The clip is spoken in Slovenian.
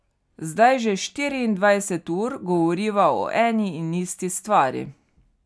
Zdaj že štiriindvajset ur govoriva o eni in isti stvari.